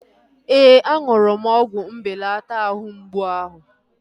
Ee, aṅụrụ m ọgwụ mbelata àhú mgbụ áhụ̀